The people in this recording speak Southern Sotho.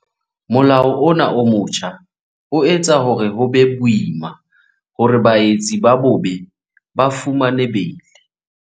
Molao ona o motjha o etsa hore ho be boima hore baetsi ba bobe ba fumane beili.